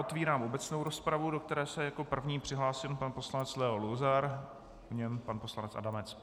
Otvírám obecnou rozpravu, do které se jako první přihlásil pan poslanec Leo Luzar, po něm pan poslanec Adamec.